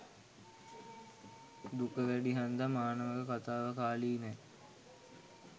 දුක වැඩි හන්දා මානවක කතාව කාලීනයි.